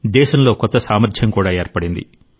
దేశంలో కొత్త సామర్ధ్యం కూడా ఏర్పడింది